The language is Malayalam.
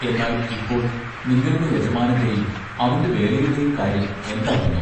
എന്നാൽ ഇപ്പോൾ നിങ്ങളുടെ യജമാനന്റെയും അവന്റെ വേലയുടെയും കാര്യം എന്താകുന്നു.